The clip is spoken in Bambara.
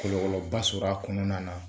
Kɔlɔlɔba sɔrɔ a kɔnɔna na